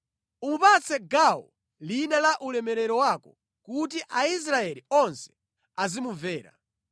Umupatse gawo lina la ulemerero wako kuti Aisraeli onse azimumvera.